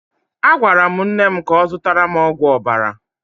A gwara m nne m ka ọ zụtara m ọgwụ ọbara.